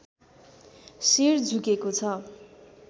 शिर झुकेको छ